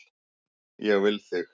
Ég vil þig.